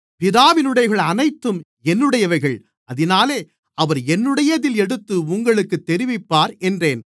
பிதாவினுடையவைகள் அனைத்தும் என்னுடையவைகள் அதினாலே அவர் என்னுடையதில் எடுத்து உங்களுக்குத் தெரிவிப்பார் என்றேன்